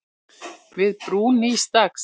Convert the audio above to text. Við brún nýs dags.